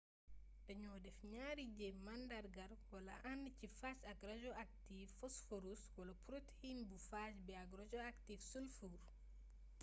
daño def ñaari jeem màndargaal wla and ci phage ak rajoaktiv phosphorus wala protein bu phage bi ak rajoaktiv sulfur